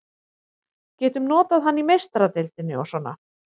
Getum notað hann í Meistaradeildinni og svona.